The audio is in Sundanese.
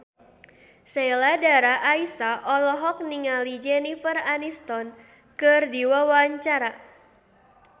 Sheila Dara Aisha olohok ningali Jennifer Aniston keur diwawancara